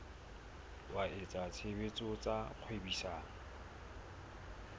wa etsa tshebetso tsa kgwebisano